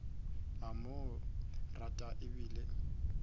a mo rata e bile